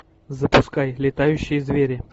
запускай летающие звери